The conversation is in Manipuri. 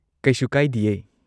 ꯀꯩꯁꯨ ꯀꯥꯢꯗꯤꯌꯦ꯫